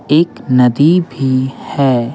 एक नदी भी है।